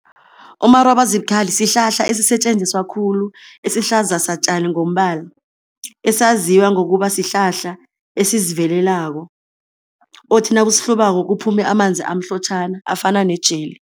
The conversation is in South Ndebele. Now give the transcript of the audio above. Umarobazibukhali sihlahla esisetjenziswa khulu, esihlaza satjani ngombala, esaziwa ngokuba sihlahla esizivelelako othi nawusihlubako kuphume amanzi amhlotjhana afana ne-jelly.